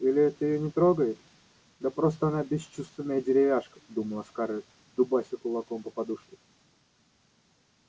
или это её не трогает да просто она бесчувственная деревяшка думала скарлетт дубася кулаком по подушке